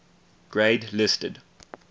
grade listed